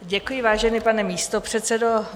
Děkuji, vážený pane místopředsedo.